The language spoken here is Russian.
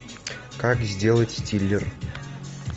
как сделать стиллер